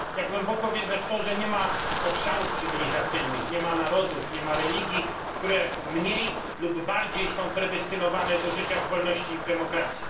Głęboko wierzę w to, że nie ma obszarów cywilizacyjnych, nie ma narodów, nie ma religii, które mniej lub bardziej są predestynowane do życia w wolności i w demokracji.